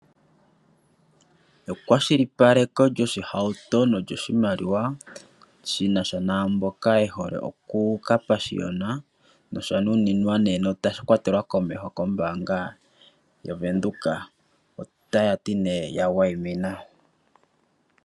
Ekwashilipaleko lyoshohauto nolyoshimaliwa shi nasha naamboka yehole okukapashiyona oshanuninwa nosha kwatelwa komeho kombaanga ya venduka otayati nee yawayimina.